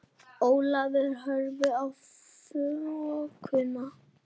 Ólafur horfði í þokuna.